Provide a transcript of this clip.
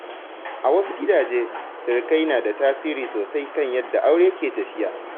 A wasu gidaje, sirikai na da tasiri sosai kan yadda aure ke tafiya.